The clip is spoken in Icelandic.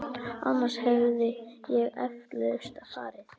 Annars hefði ég eflaust farið.